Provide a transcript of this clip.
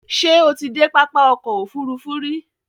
Ṣé o ti dé pápá ọkò òfurufú rí?